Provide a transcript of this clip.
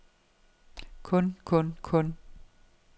kun kun kun